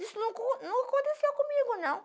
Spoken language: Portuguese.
Isso não não aconteceu comigo, não.